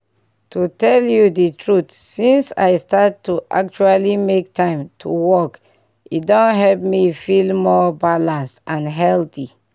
to tell you the truth since i start to actually make time to walk e don help me feel more balanced and healthy.